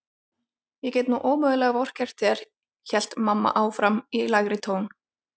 Ég get nú ómögulega vorkennt þér hélt mamma áfram í lægri tón.